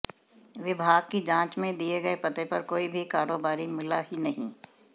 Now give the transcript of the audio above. विभाग की जांच में दिए गए पते पर कोई भी कारोबारी मिला ही नहीं